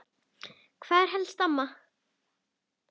Hvað er helst til ama?